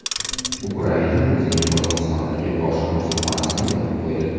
Ukraina o‘zining Qozog‘istondagi bosh konsulxonasini yopib qo‘ydi.